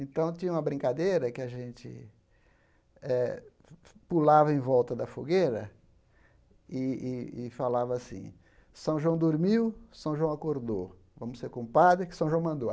Então tinha uma brincadeira que a gente eh pulava em volta da fogueira e e e falava assim, São João dormiu, São João acordou, vamos ser compadres, que São João mandou.